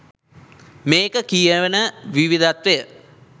මේ කියන විවිධත්වය